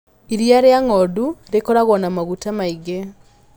Iria rĩa ngondu rĩkoragwo na maguta maingĩ.